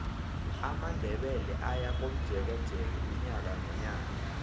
amandebele ayakomjekeje unyaka nonyaka